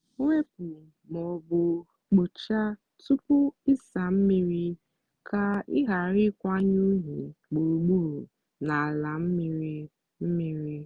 wepu ma ọ bụ kpochaa tupu ịsa mmiri ka ị ghara ịkwanye unyi gburugburu n'ala mmiri mmiri.